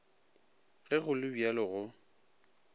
ge go le bjalo go